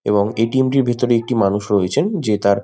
এবং এ.টি.এম. -টির ভিতরে একটি মানুষ রয়েছে যে তার--